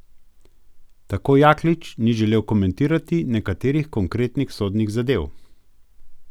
Tako Jaklič ni želel komentirati nekaterih konkretnih sodnih zadev.